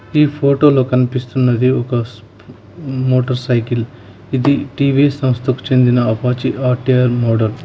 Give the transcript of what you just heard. ఈ ఫోటోలో కనిపిస్తున్నది ఒక మోటార్ సైకిల్ ఇది టీ_వీ_ఎస్ సంస్థకు చెందిన అపాచీ ఆర్_టి_ఆర్ మోడల్ .